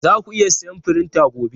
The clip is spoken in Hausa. Zaku iya siyan firinta gobe?